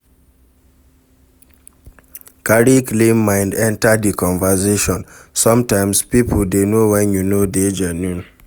Carry clean mind enter di conversation, sometimes pipo dey know when you no dey genuine